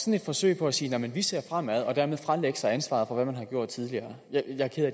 et forsøg på at sige at man ser fremad og dermed fralægge sig ansvaret for hvad man har gjort tidligere jeg er ked af